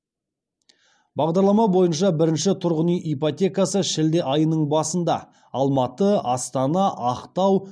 бағдарлама бойынша бірінші тұрғын үй ипотекасы шілде айының басында алматы астана ақтау